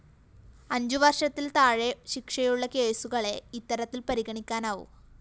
അഞ്ചുവര്‍ഷത്തില്‍ താഴെ ശിക്ഷയുള്ള കേസുകളെ ഇത്തരത്തില്‍ പരിഗണിക്കാനാവൂ